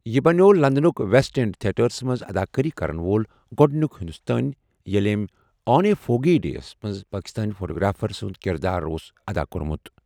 یہِ بنٛیوٚو لندنٕک ویسٹ اینڈ تھیٹرَس منٛز اداکٲری کرَن وول گۄڈٕنیُک ہندوستٲنی ییٚلہِ أمۍ 'آن اے فوگی ڈے' یَس منٛز پاکستٲنی فوٹوگرافر سُنٛد کِردار اوس ادا کوٚرمُت۔